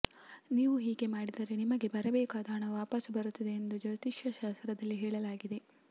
ನೀವು ಹೀಗೆ ಮಾಡಿದರೆ ನಿಮಗೆ ಬರಬೇಕಾದ ಹಣ ವಾಪಸು ಬರುತ್ತದೆ ಎಂದು ಜ್ಯೋತಿಷ್ಯಶಾಸ್ತ್ರದಲ್ಲಿ ಹೇಳಲಾಗಿದೆ